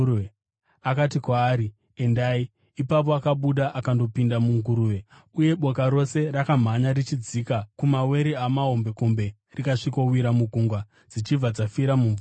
Akati kwaari, “Endai!” Ipapo akabuda akandopinda munguruve, uye boka rose rakamhanya richidzika kumawere amahombekombe rikasvikowira mugungwa dzichibva dzafira mumvura.